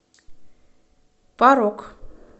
парок